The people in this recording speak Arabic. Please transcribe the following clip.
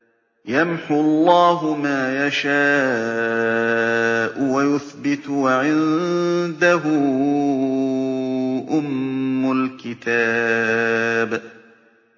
يَمْحُو اللَّهُ مَا يَشَاءُ وَيُثْبِتُ ۖ وَعِندَهُ أُمُّ الْكِتَابِ